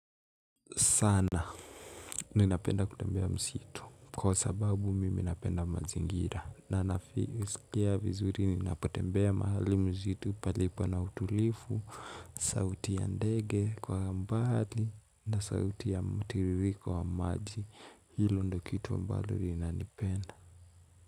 Sana ninapenda kutembea msitu kwa sababu mimi napenda mazingira na nasikia vizuri ni napotembea mahali msitu palipo na utulivu, sauti ya ndege kwa mbali na sauti ya mtiririko wa maji hilo ndio kitu ambalo ninalipenda.